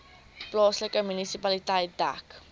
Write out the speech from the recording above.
plaaslike munisipaliteit dek